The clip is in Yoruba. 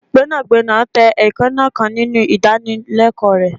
gbénàgbénà tẹ eekanna kan ninu idanileko rẹ